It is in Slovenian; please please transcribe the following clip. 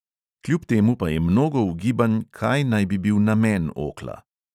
Kljub temu pa je mnogo ugibanj, kaj naj bi bil namen okla.